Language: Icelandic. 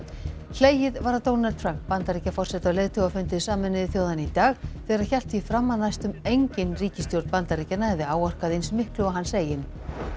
hlegið var að Donald Trump Bandaríkjaforseta á leiðtogafundi Sameinuðu þjóðanna í dag þegar hann hélt því fram að næstum engin ríkisstjórn Bandaríkjanna hefði áorkað eins miklu og hans eigin